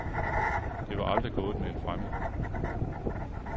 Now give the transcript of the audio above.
Det var aldrig gået med en fremmed.